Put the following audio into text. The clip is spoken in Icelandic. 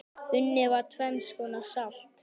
Unnið var tvenns konar salt.